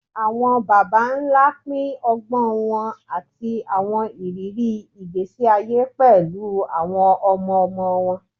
Awọn baba nla pin ọgbọn wọn ati awọn iriri igbesi aye pẹlu awọn ọmọ-ọmọ wọn